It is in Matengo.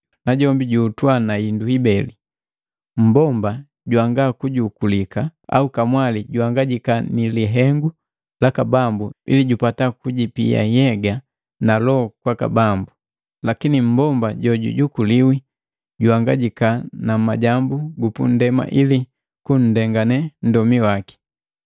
najombi juhutwa na hindu ibeli. Mmbomba jwanga kujukulika au kamwali juhangajika ni lihengu laka Bambu ili jupata kujipia nhyega na loho kwaka Bambu. Lakini mmbomba jojukuliwi juhangajika na majambu gupundema ili kunndengane nndomi waki.